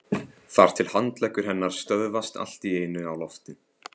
Þar til handleggur hennar stöðvast allt í einu á lofti.